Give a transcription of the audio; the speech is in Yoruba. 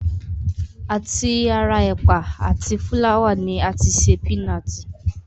À ti ara ẹ̀pà àti fúláwà ni a ti ṣe pínaatì